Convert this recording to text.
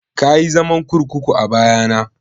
Kayi zaman kurkuku a baya na?